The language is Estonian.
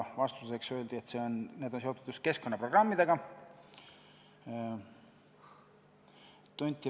Vastuseks öeldi, et need on seotud just keskkonnaprogrammidega.